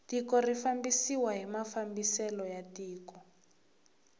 tiko ri fambisiwa hi mafambiselo ya tiko